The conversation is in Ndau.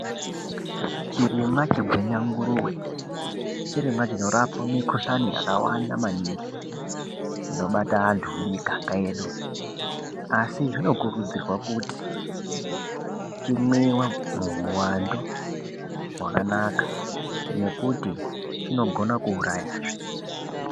Chirimwa chegwenanguruwe, chirimwa chinorape makhuhlane akawanda maningi, anobata antu mumiganga yedu, asi zvinokurudzirwa kuti chimwiwe muuwandu wakanaka ngekuti chinokona kuurayazve.